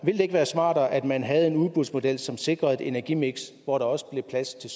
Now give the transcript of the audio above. ville det ikke være smartere at man havde en udbudsmodel som sikrede et energimiks hvor der også blev plads til